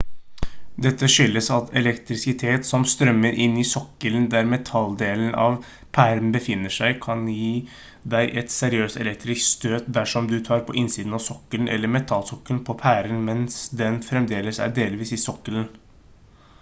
dette skyldes at elektrisitet som strømmer inn i sokkelen der metalldelen av pæren befinner seg kan gi deg et seriøst elektrisk støt dersom du tar på innsiden av sokkelen eller metallsokkelen på pæren mens den fremdeles er delvis i sokkelen